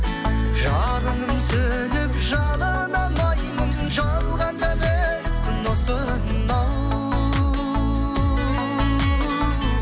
жалынып сөніп жалына алмаймын жалғанда бес күн осынау